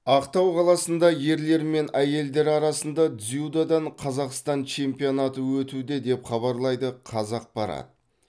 ақтау қаласында ерлер мен әйелдер арасында дзюдодан қазақстан чемпионаты өтуде деп хабарлайды қазақпарат